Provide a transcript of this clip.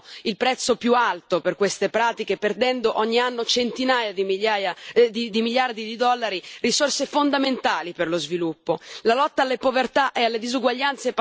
I paesi più poveri, infatti, sono quelli che pagano il prezzo più alto per queste pratiche, perdendo ogni anno centinaia di miliardi di dollari, risorse fondamentali per lo sviluppo.